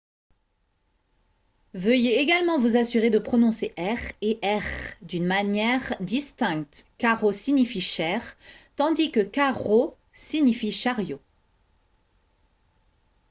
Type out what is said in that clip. veuillez également vous assurer de prononcer « r » et « rr » d’une manière distincte :« caro » signifie « cher » tandis que « carro » signifie « chariot »